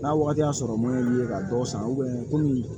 N'a wagati y'a sɔrɔ mun y'i ye ka dɔw san komi